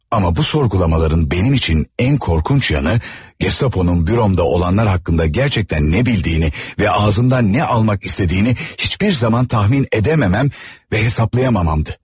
Amma bu sorğulamaların mənim üçün ən qorxunc yanı, Gestaponun büromda olanlar haqqında gerçəkdən nə bildiyini və ağzımdan nə almaq istədiyini heç bir zaman tahmin edə bilməm və hesablaya bilməm idi.